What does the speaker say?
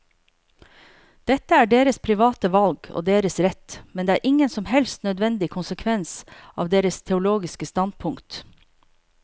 Dette er deres private valg og deres rett, men det er ingen som helst nødvendig konsekvens av deres teologiske standpunkt.